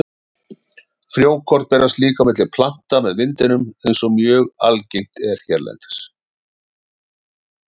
Frjókorn berast líka á milli plantna með vindinum eins og mjög algengt er hérlendis.